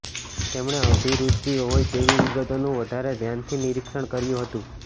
તેમણે અભિરુચિ હોય તેવી વિગતોનું વધારે ધ્યાનથી નિરીક્ષણ કર્યું હતું